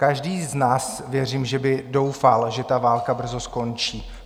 Každý z nás věřím, že by doufal, že ta válka brzo skončí.